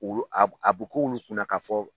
Olu a bu a bu k'ulu kunna ka fɔ